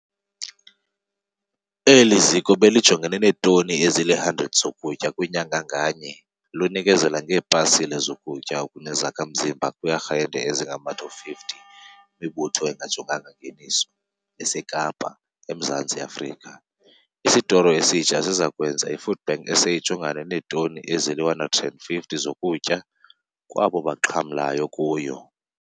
Eli ziko belijongene neetoni ezili-100 zokutya kwinyanga nganye, lunikezela ngeepasile zokutya okunezakha-mzimba kwii-arhente ezingama-250, imibutho engajonganga ngeniso, eseKapa, eMzantsi Afrika. Isotoro esitsha siza kwenza iFoodBank SA ijongane neetoni ezili-150 zokutya kwabo baxhamlayo kuyo.